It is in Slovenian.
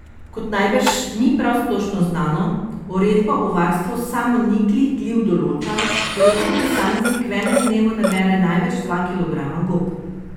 Kot najbrž ni prav splošno znano, uredba o varstvu samoniklih gliv določa, da lahko posameznik v enem dnevu nabere največ dva kilograma gob.